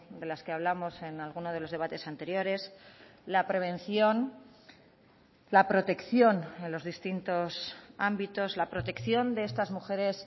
de las que hablamos en alguno de los debates anteriores la prevención la protección en los distintos ámbitos la protección de estas mujeres